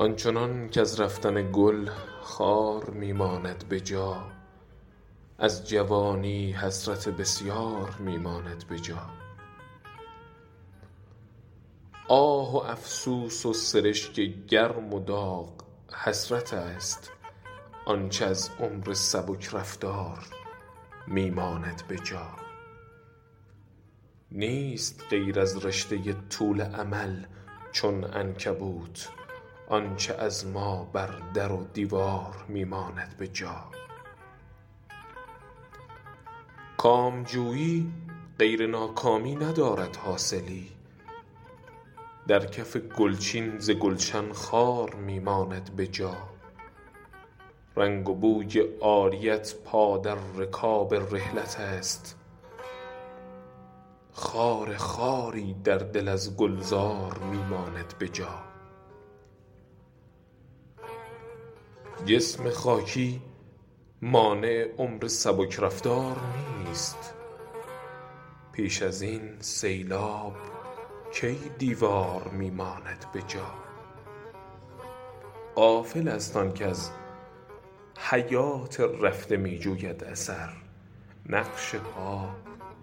آنچنان کز رفتن گل خار می ماند به جا از جوانی حسرت بسیار می ماند به جا آه افسوس و سرشک گرم و داغ حسرت است آنچه از عمر سبک رفتار می ماند به جا نیست غیر از رشته طول امل چون عنکبوت آنچه از ما بر در و دیوار می ماند به جا کامجویی غیر ناکامی ندارد حاصلی در کف گل چین ز گلشن خار می ماند به جا رنگ و بوی عاریت پا در رکاب رحلت است خار خواری در دل از گلزار می ماند به جا جسم خاکی مانع عمر سبک رفتار نیست پیش این سیلاب کی دیوار می ماند به جا غافل است آن کز حیات رفته می جوید اثر نقش پا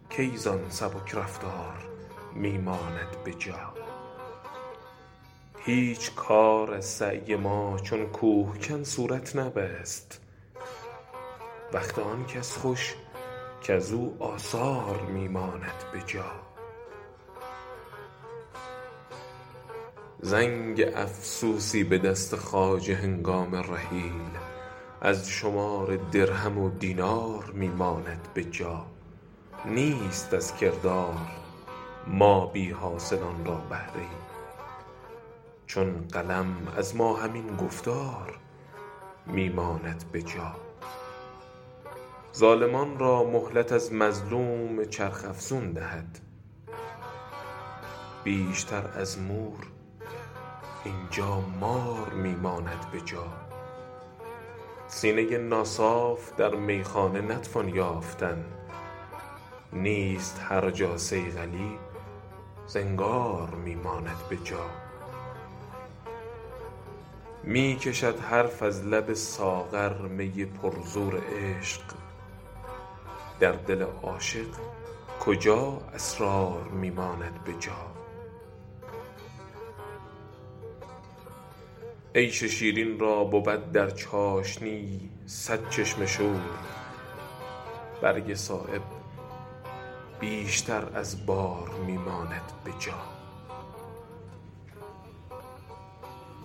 کی زان سبک رفتار می ماند به جا هیچ کار از سعی ما چون کوهکن صورت نبست وقت آن کس خوش کز او آثار می ماند به جا زنگ افسوسی به دست خواجه هنگام رحیل از شمار درهم و دینار می ماند به جا نیست از کردار ما بی حاصلان را بهره ای چون قلم از ما همین گفتار می ماند به جا ظالمان را مهلت از مظلوم چرخ افزون دهد بیشتر از مور اینجا مار می ماند به جا سینه ناصاف در میخانه نتوان یافتن نیست هر جا صیقلی زنگار می ماند به جا می کشد حرف از لب ساغر می پر زور عشق در دل عاشق کجا اسرار می ماند به جا عیش شیرین را بود در چاشنی صد چشم شور برگ صایب بیشتر از بار می ماند به جا